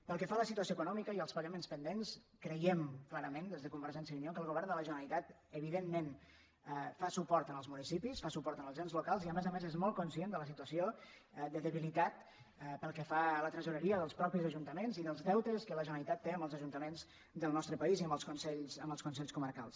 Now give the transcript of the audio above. pel que fa a la situació econòmi·ca i als pagaments pendents creiem clarament des de convergència i unió que el govern de la generalitat evidentment fa suport als municipis fa suport als ens locals i a més a més és molt conscient de la situació de debilitat pel que fa a la tresoreria dels mateixos ajuntaments i dels deutes que la generalitat té amb els ajuntaments del nostre país i amb els consells co·marcals